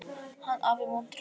Hann afi montrass.